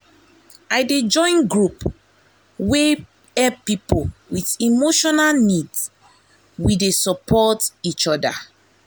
i dey join group wey help people with emotional needs we dey support each other.